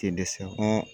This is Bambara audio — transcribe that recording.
Te dɛsɛ